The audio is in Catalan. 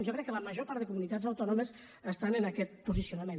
jo crec que la major part de comunitats autònomes estan en aquest posicionament